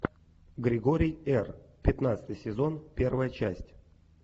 григорий р пятнадцатый сезон первая часть